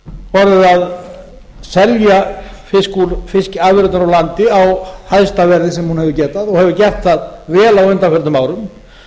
orðið að selja afurðirnar úr landi á hæsta verði sem hún hefur getað og hefur gert það vel á undanförnum árum